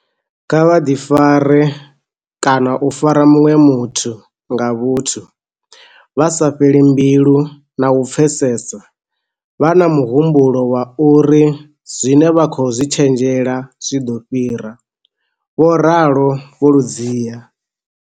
Kha vha ḓifare kana u fara muṅwe muthu nga vhuthu, vha sa fheli mbilu na u pfesesa, vha na muhumbulo wa uri zwine vha khou zwi tshenzhema zwi ḓo fhira, vho ralo Vho Ludziya.